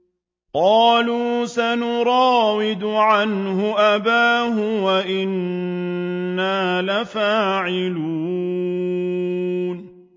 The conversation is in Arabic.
قَالُوا سَنُرَاوِدُ عَنْهُ أَبَاهُ وَإِنَّا لَفَاعِلُونَ